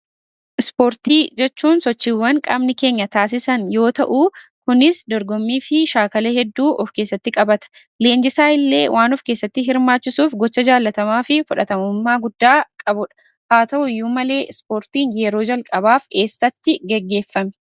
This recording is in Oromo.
Ispoortii jechuun sochiiwwan qaamni keenya taasisan yoo ta'uu, kunis dorgommiifi shaakala hedduu ofkeessatti qabata. Leenjisaa illee ofkeessatti waan hirmaachiisuuf, gocha jaalatamaafi fudhatamummaa guddaa qabuudha. Haa ta'uyyuu malee, ispoortiin yeroo jalqabaaf eessattii gaggeefame?